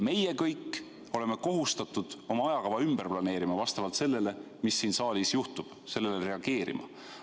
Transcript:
Meie kõik oleme kohustatud oma ajakava ümber planeerima vastavalt sellele, mis siin saalis juhtub, ja sellele reageerima.